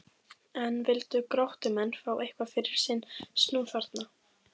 En vildu Gróttumenn fá eitthvað fyrir sinn snúð þarna?